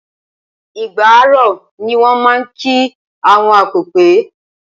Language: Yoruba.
Igbà á ró, ni wọ́n máa ń kí àwọn akọpẹ̀.